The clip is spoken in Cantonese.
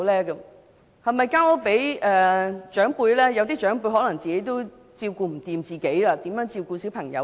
有些長輩自己也不能照顧自己，如何照顧小朋友？